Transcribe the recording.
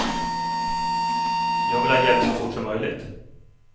Jag vill ha hjälp så fort som möjligt.